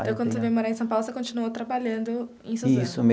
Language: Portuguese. Então, quando você veio morar em São Paulo, você continuou trabalhando em Suzano? Isso.